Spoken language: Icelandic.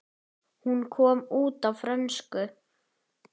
Hún kom út á frönsku